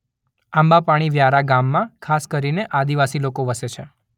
આંબાપાણી વ્યારા ગામમાં ખાસ કરીને આદિવાસી લોકો વસે છે.